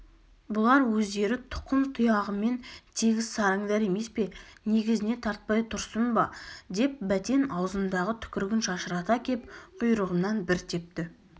бұлар өздері тұқым-тұғиянымен тегіс сараңдар емес пе негізіне тартпай тұрсын ба деп бәтен аузындағы түкірігін шашырата кеп құйрығымнан бір тепті